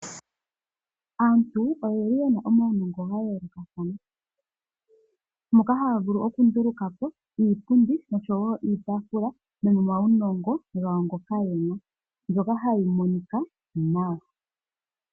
Aantu oye na omawunongo ga yoolokathana moka haya vulu okunduluka po iipundi niitafula molwa uunongo mboka ye na mbyoka hayi monika nawa.